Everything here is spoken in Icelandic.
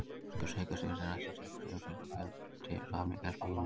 Styrkur segulsviðsins ræðst af styrk straumsins og fjölda vafninga í spólunni.